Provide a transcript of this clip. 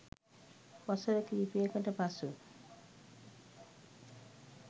වසර කිහිපයකට පසු